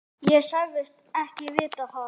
Ég sagðist ekki vita það.